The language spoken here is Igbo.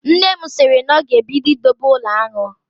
Nne m sịrị na ọ ga-ebido idobe ụlọ aṅụ